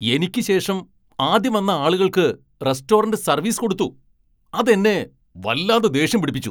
എനിക്ക് ശേഷം ആദ്യം വന്ന ആളുകൾക്ക് റെസ്റ്റോറന്റ് സർവീസ് കൊടുത്തു , അത് എന്നെ വല്ലാതെ ദേഷ്യം പിടിപ്പിച്ചു .